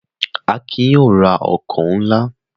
Akin yóò ra ọkọ̀ náà!